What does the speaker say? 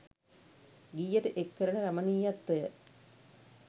ගීයට එක් කරන රමණීයත්වය